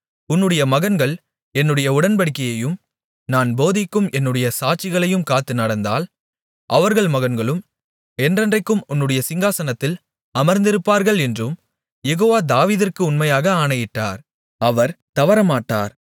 உன்னுடைய மகன்கள் என்னுடைய உடன்படிக்கையையும் நான் போதிக்கும் என்னுடைய சாட்சிகளையும் காத்து நடந்தால் அவர்கள் மகன்களும் என்றென்றைக்கும் உன்னுடைய சிங்காசனத்தில் அமர்ந்திருப்பார்கள் என்றும் யெகோவா தாவீதிற்கு உண்மையாக ஆணையிட்டார் அவர் தவறமாட்டார்